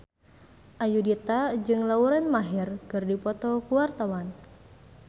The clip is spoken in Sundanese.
Ayudhita jeung Lauren Maher keur dipoto ku wartawan